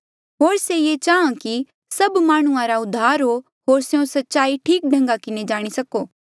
होर से ये चाहां कि सभ माह्णुंआं रा उद्धार हो होर स्यों सच्चाई ठीक ढंगा किन्हें जाणी सको